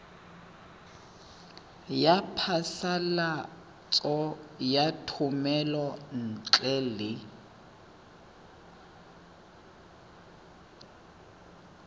ya phasalatso ya thomelontle le